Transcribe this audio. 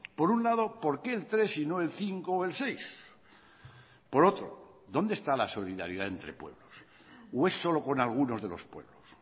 por un lado por qué el tres y no el cinco o el seis por otro dónde está la solidaridad entre pueblos o es solo con algunos de los pueblos